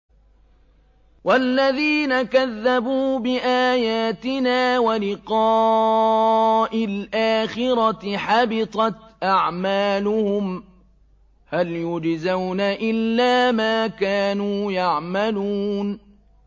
وَالَّذِينَ كَذَّبُوا بِآيَاتِنَا وَلِقَاءِ الْآخِرَةِ حَبِطَتْ أَعْمَالُهُمْ ۚ هَلْ يُجْزَوْنَ إِلَّا مَا كَانُوا يَعْمَلُونَ